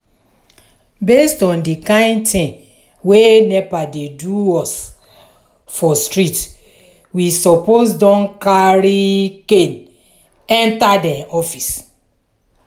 based on di kind thing wey nepa dey do us for street we suppose don carry cana enter dem office.